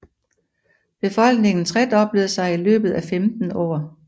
Befolkningen tredoblede sig i løbet af 15 år